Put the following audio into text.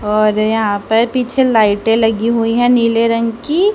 और यहां पर पीछे लाइटें लगी हुई है नीले रंग की--